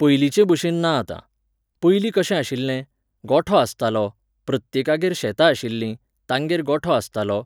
पयलिंचेबशेन ना आतां. पयलीं कशें आशिल्लें, गोठो आसतालो, प्रत्येकागेर शेतां आशिल्लीं, तांगेर गोठो आसतालो,